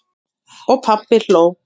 Og pabbi hló.